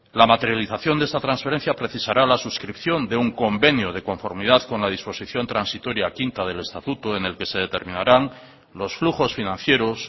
la materialización de esta transferencia precisará la suscripción de un convenio de conformidad con la disposición transitoria quinta del estatuto en el que se determinarán los flujos financieros